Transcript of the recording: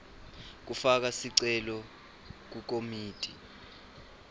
kufaka sicelo kukomiti